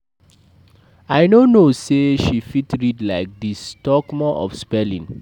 I no know say she fit read like dis talk more of spelling